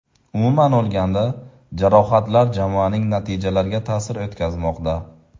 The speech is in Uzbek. Umuman olganda, jarohatlar jamoaning natijalariga ta’sir o‘tkazmoqda.